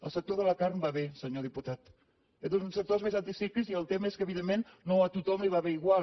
el sector de la carn va bé senyor diputat és un dels sectors més anticíclics i el tema és que evidentment no a tothom li va bé igual